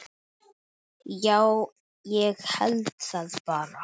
Já, ég held það bara.